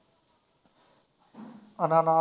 ਅਨਾਨਾਸ